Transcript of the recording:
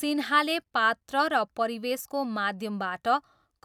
सिन्हाले पात्र र परिवेशको माध्यमबाट